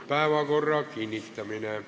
Päevakorra kinnitamine.